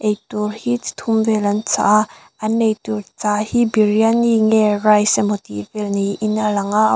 eitur hi chi thum vel an chah a an eitur chah hi biryani nge rice emaw tihvel niin a lang a a--